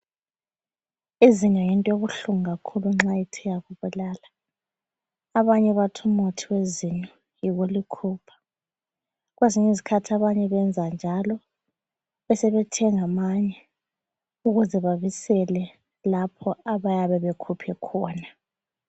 Izinyo yinto ebuhlungu kakhulu nxa ithe yakubulala abanye bathi umuthi wezinyo yikulikhupha, kwezinye izikhathi abanye benza njalo besebethenga amanye ukuze babisele lapho abayabe bekhuphe khona.